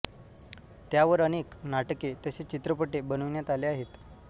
त्यावर अनेक नाटके तसेच चित्रपटे बनविण्यात आले आहेत